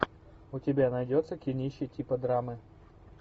у тебя найдется кинище типа драмы